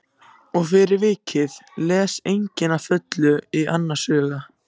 Og fyrir vikið les enginn að fullu í annars hug.